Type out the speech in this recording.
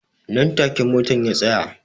Nan take motan ya tsaya